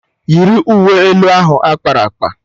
Yiri uwe elu ahụ akpara akpa!